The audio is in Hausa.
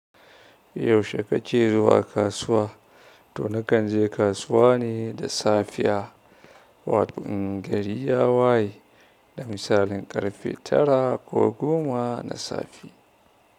Yaushe kake zuwa kasuwa? Toh nakan je kasuwa ne da safiya, wato in gari ya waye da misalin ƙarfe tara ko goma na safe.